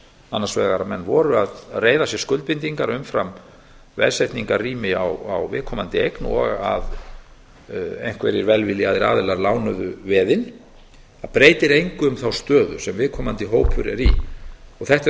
annars vegar að menn reyrðu sér skuldbindingu umfram veðsetningarrými á viðkomandi eign og einhverjir velviljaðir aðilar lánuðu veðin það breytir þó engu um þá stöðu sem viðkomandi hópur er í og þetta eru